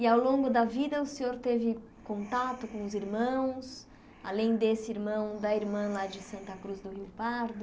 e ao longo da vida o senhor teve contato com os irmãos além desse irmão da irmã lá de Santa Cruz do Rio Pardo